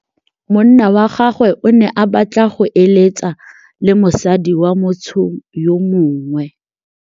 Monna wa gagwe o ne a batla go êlêtsa le mosadi wa motho yo mongwe.